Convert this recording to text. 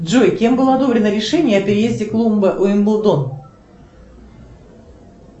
джой кем было одобрено решение о переезде клуба уимблдон